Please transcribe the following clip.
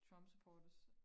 Trump supporters